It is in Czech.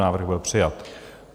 Návrh byl přijat.